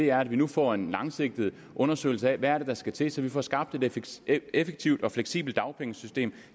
er at vi nu får en langsigtet undersøgelse af hvad det er der skal til så vi får skabt et effektivt og fleksibelt dagpengesystem